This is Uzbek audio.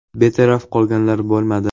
Betaraf qolganlar bo‘lmadi.